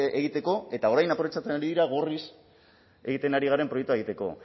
egiteko eta orain aprobetxatzen ari dira gorriz egiten ari garen proiektua egiteko